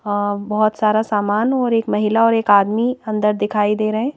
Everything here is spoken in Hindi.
अ बहुत सारा सामान और एक महिला और एक आदमी अंदर दिखाई दे रहे हैं।